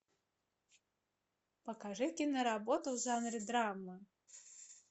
покажи киноработу в жанре драма